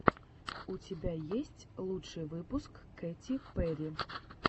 у тебя есть лучший выпуск кэти перри